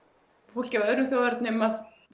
fólki af öðrum þjóðernum að